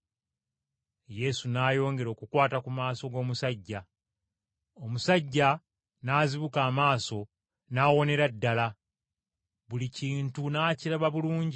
Yesu n’ayongera okukwata ku maaso g’omusajja, omusajja n’azibuka amaaso n’awonera ddala buli kintu n’akiraba bulungi.